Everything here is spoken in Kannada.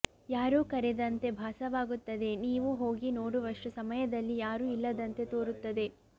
ಯಾರೋ ಕರೆದಂತೆ ಭಾಸವಾಗುತ್ತದೆ ನೀವು ಹೋಗಿ ನೋಡುವಷ್ಟು ಸಮಯದಲ್ಲಿ ಯಾರು ಇಲ್ಲದಂತೆ ತೋರುತ್ತದೆ